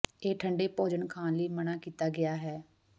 ਇਹ ਠੰਡੇ ਭੋਜਨ ਖਾਣ ਲਈ ਮਨ੍ਹਾ ਕੀਤਾ ਗਿਆ ਹੈ